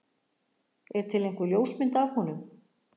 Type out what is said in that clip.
Er til einhver ljósmynd af honum?